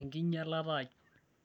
enkinyialata ai